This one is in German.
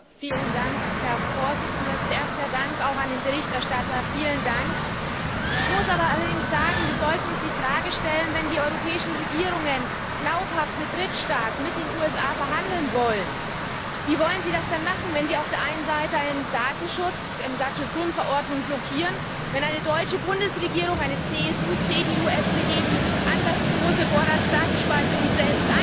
Herr Präsident! Zuerst mein Dank an den Berichterstatter vielen Dank! Ich muss allerdings sagen, wir sollten uns die Frage stellen Wenn die europäischen Regierungen glaubhaft mit Drittstaaten, mit den USA verhandeln wollen, wie wollen sie das denn machen, wenn sie auf der einen Seite eine Datenschutzgrundverordnung blockieren, wenn eine deutsche Bundesregierung, eine CSU, CDU, SPD, die anlasslose Vorratsdatenspeicherung selbst einführen